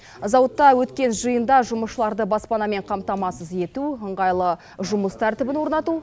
зауытта өткен жиында жұмысшыларды баспанамен қамтамасыз ету ыңғайлы жұмыс тәртібін орнату